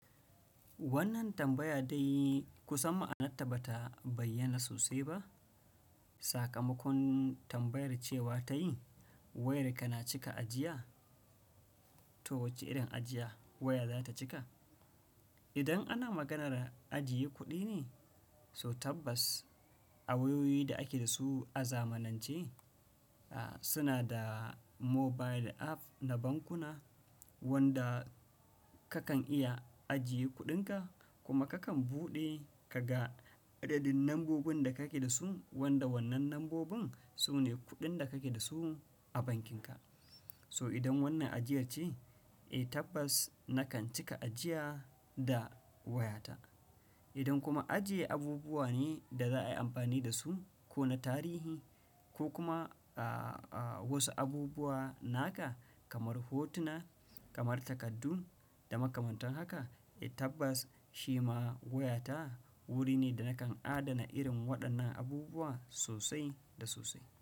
Wannan tambaya dai kusan ma'anarta bata bayyana sosai ba. Sakamakon tambayar cewa ta yi, wayarka na cika ajiya? To wace irin ajiya waya za ta cika? Idan ana maganar ajiye kuɗi ne, so tabbas a wayoyi da ake da su a zamanance, a suna da mobile app na bankuna wanda kakan iya ajiye kuɗinka kuma kakan buɗe ka ga adadin lambobin da kake da su wanda wannan lambobin su ne kuɗin da kake da su a bankinka. So idan wannan ajiyar ce, eh tabbas nakan cika ajiya da wayata. Idan kuma ajiye abubuwa ne da za a yi amfani da su ko na tarihi ko kuma a a wasu abubuwa naka kamar hotuna, kamar takaddun da makamantan haka eh tabbas shi ma wayata wuri ne da nakan adana irin waɗannan abubuwa sosai da sosai.